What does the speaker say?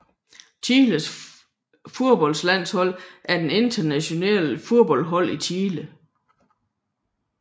Chiles fodboldlandshold er det nationale fodboldhold i Chile